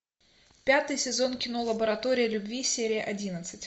пятый сезон кино лаборатория любви серия одиннадцать